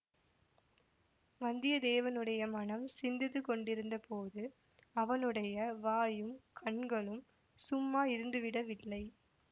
வந்தியத்தேவனுடைய மனம் சிந்தித்து கொண்டிருந்தபோது அவனுடைய வாயும் கண்களும் சும்மா இருந்துவிடவில்லை